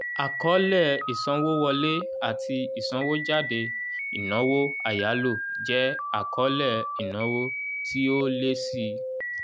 àkọọ́lẹ̀ ìsanwówọlé ati ìsanwójáde ìnáwó àyáló jẹ àkọọ́lẹ̀ ìnáwó tí ó lé síi